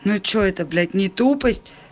ну что это блять не тупая